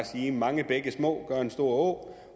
sige at mange bække små gør en stor å